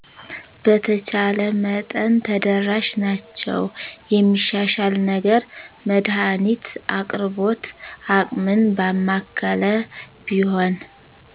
በተቻለ መጠን ተደራሽ ናቸዉ የሚሻሻል ነገር መድሀኒት አቅርቦት አቅምን ባማከለ ቢሆን